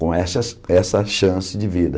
com essas essa chance de vida.